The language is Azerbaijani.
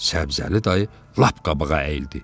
Səbzəli dayı lap qabağa əyildi.